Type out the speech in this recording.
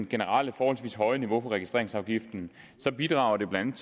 generelle forholdsvis høje niveau for registreringsafgiften så bidrager den blandt